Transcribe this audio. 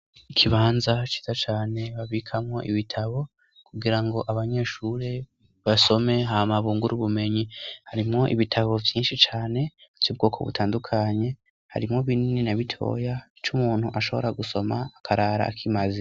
Ikibanza ciza cane babikamwo ibitabo kugira ngo abanyeshuri basome, hama bungure ubumenyi, harimwo ibitabo vyinshi cane vy'ubwoko butandukanye, harimwo binini na bitoya, c'umuntu ashobora gusoma akarara akimaze.